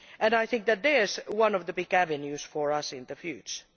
I think that is one of the big avenues for us in the future.